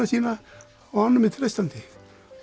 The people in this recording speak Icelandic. sína honum er treystandi